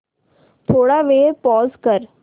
थोडा वेळ पॉझ कर